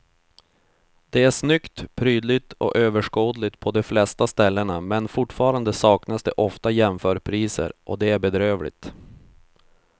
Det är snyggt, prydligt och överskådligt på de flesta ställena men fortfarande saknas det ofta jämförpriser och det är bedrövligt.